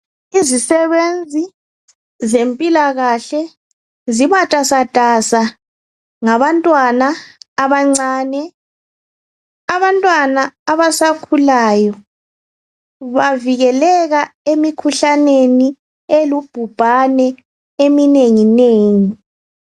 Izisebenzi zempilakahle zimatasatasa ngabantwana abancane. Abantwana abasakhulayo bavikeleka emikhuhlaneni elubhubhane eminenginengi.